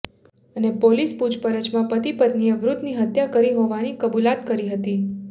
અને પોલીસ પુછપરછમાં પતિ પત્નીએ વૃદ્ધની હત્યા કરી હોવાની કબૂલાત કરી હતી